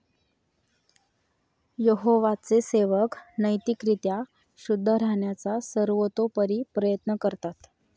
यहोवाचे सेवक नैतिक रीत्या शुद्ध राहण्याचा सर्वतोपरी प्रयत्न करतात.